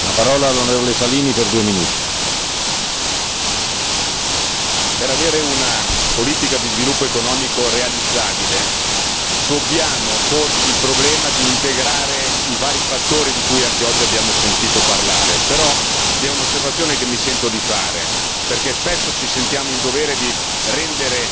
Signor Presidente, onorevoli deputati per avere una politica di sviluppo economico realizzabile dobbiamo porci il problema di integrare i vari fattori di cui anche oggi abbiamo sentito parlare. Però, vi è un'osservazione che mi sento di fare, perché spesso ci sentiamo in dovere di rendere